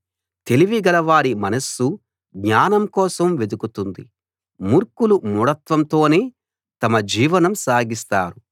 తెలివి గలవారి మనస్సు జ్ఞానం కోసం వెదుకుతుంది మూర్ఖులు మూఢత్వంతోనే తమ జీవనం సాగిస్తారు